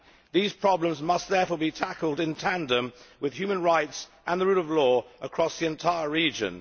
These problems must therefore be tackled in tandem with human rights and the rule of law across the entire region.